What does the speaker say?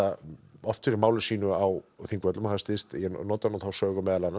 oft fyrir máli sínu á Þingvöllum ég nota nú þá sögu meðal annars að